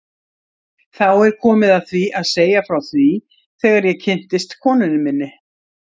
Þá er komið að því að segja frá því þegar ég kynntist konunni minni.